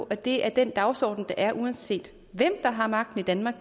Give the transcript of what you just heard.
at det er den dagsorden der er uanset hvem der har magten i danmark